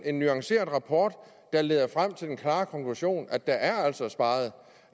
en nuanceret rapport der leder frem til den klare konklusion at der altså